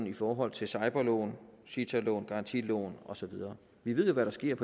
i forhold til cibor lån cita lån garantilån og så videre vi ved jo hvad der sker